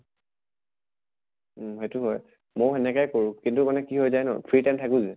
উম সেইটো হয়। ময়ো সেনেকায় কৰোঁ কিন্তু মানে কি হৈ যায় ন free time থাকো যে